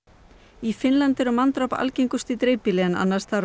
í Finnlandi eru manndráp algengust í dreifbýli en annars staðar á